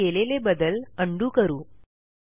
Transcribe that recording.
आपण केलेले बदल उंडो करू